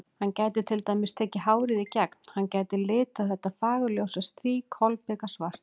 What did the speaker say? Hann gæti til dæmis tekið hárið í gegn, hann gæti litað þetta fagurljósa strý kolbikasvart.